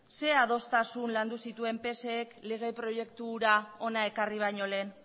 zein adostasun landu zituen psek lege proiektura hura hona ekarri baino lehen